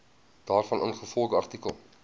daarvan ingevolge artikel